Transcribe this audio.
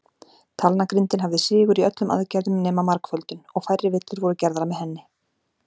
Talnagrindin hafði sigur í öllum aðgerðum nema margföldun, og færri villur voru gerðar með henni.